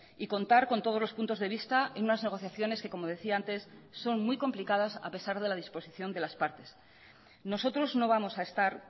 y contar con todos los puntos de vista en unas negociaciones que como decía antes son muy complicadas a pesar de la disposición de las partes nosotros no vamos a estar